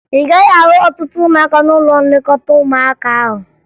Ị gaghị ahụ ọtụtụ ụmụaka n'ụlọ nlekọta ụmụaka ahụ